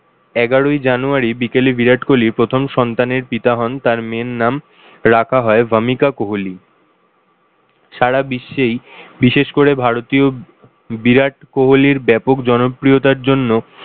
এগারোই january বিকেলে ভিরাট কোহলি প্রথম সন্তানের পিতা হন। তার মেয়ের নাম রাখা হয় ভামিকা কোহলি। সারা বিশ্বেই বিশেষ করে ভারতীয় বিরাট কোহলির ব্যাপক জনপ্রিয়তার জন্য